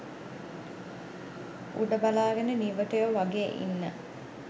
උඩ බලාගෙන නිවටයෝ වගේ ඉන්න